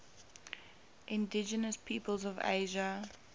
indigenous peoples of asia